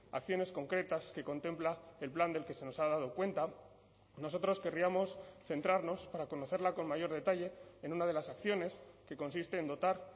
acciones concretas que contempla el plan del que se nos ha dado cuenta nosotros querríamos centrarnos para conocerla con mayor detalle en una de las acciones que consiste en dotar